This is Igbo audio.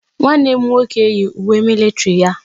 Nwanne m nwoke yi uwe militiri ya.